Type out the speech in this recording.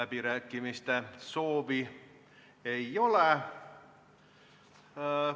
Kõnesoove ei ole.